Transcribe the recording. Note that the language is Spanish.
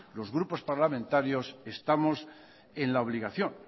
los grupos parlamentarios estamos en la obligación